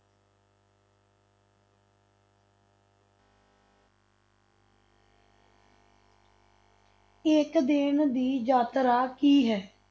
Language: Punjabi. ਇੱਕ ਦਿਨ ਦੀ ਯਾਤਰਾ ਕੀ ਹੈ?